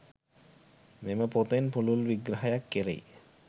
මෙම පොතෙන් පුළුල් විග්‍රහයක් කෙරෙයි.